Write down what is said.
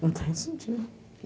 Não tem sentido.